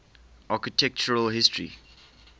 architectural history